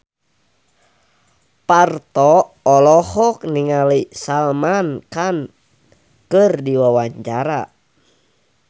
Parto olohok ningali Salman Khan keur diwawancara